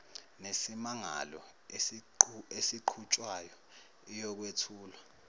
nesimangalo esiqhutshwayo iyokwethulwa